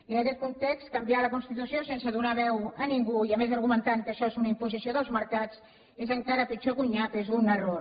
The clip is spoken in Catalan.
i en aquest context canviar la constitució sense donar veu a ningú i a més argumentant que això és una imposició dels mercats és encara pitjor que un nyap és un error